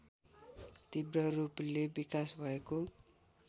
तीव्ररूपले विकास भएको